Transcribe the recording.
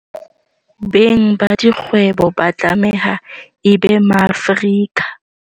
Beng ba dikgwebo ba tlameha e be Maafrika.